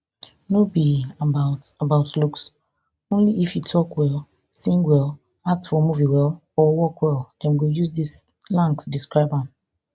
no be about about looks only if e tok well sing well act for movie well or work well dem go use di slangs describe am